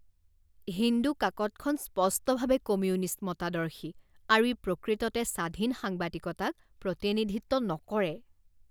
হিন্দু কাকতখন স্পষ্টভাৱে কমিউনিষ্ট মতাদৰ্শী আৰু ই প্ৰকৃততে স্বাধীন সাংবাদিকতাক প্ৰতিনিধিত্ব নকৰে